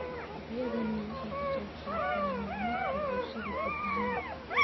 Adeegyadani waxay ka qayb qaataan horumarka bulshada guud ahaan.